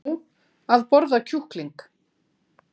Nú, að borða kjúkling.